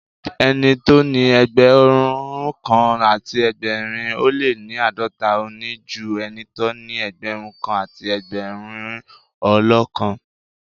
Ẹni tóní Ẹgbẹ̀rúnkan àti ẹgbẹ̀rin ó lé ní àádọ́ta, òní ju ẹnitó ní Ẹgbẹ̀rún kan àti ẹgbẹ̀rin ó lóókan.